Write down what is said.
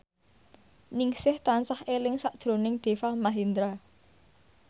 Ningsih tansah eling sakjroning Deva Mahendra